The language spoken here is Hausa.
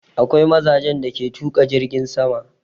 Akwai mazajen da ke tuƙa jirgin sama.